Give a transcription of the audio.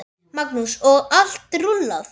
Magnús: Og allt rúllað?